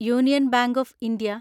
union bank of India